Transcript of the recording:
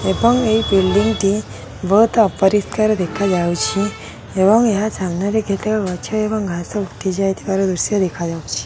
ଏବଂ ଏଇ ବିଲ୍ଡିଙ୍ଗ ଟି ବୋହୁତ୍ ଅପରିଷ୍କାର ଦେଖାଯାଉଛି ଏବଂ ଏହା ସାମ୍ନାରେ କେତେକ ଗଛ ଏବଂ ଘାସ ଉଠିଯାଇଥିବାର ଦୃଶ୍ୟ ଦେଖାଯାଉଛି।